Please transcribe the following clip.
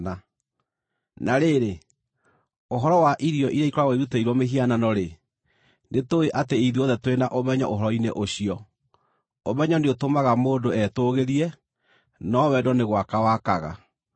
Na rĩrĩ, ũhoro wa irio iria ikoragwo irutĩirwo mĩhianano-rĩ, nĩtũũĩ atĩ ithuothe tũrĩ na ũmenyo ũhoro-inĩ ũcio. Ũmenyo nĩũtũmaga mũndũ etũũgĩrie, no wendo nĩ gwaka wakaga.